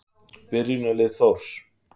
Byrjunarlið Þórs.